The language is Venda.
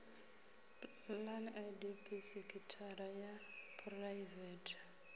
plan idp sekithara ya phuraivete